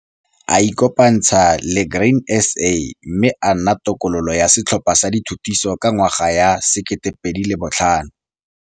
A ikopantsha le Grain SA mme a nna tokololo ya Setlhopha sa Dithutiso ka ngwaga ya 2005.